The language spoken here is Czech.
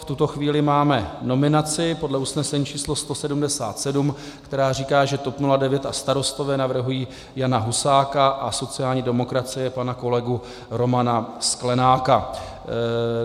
V tuto chvíli máme nominaci podle usnesení číslo 177, která říká, že TOP 09 a Starostové navrhují Jana Husáka a sociální demokracie pana kolegu Romana Sklenáka.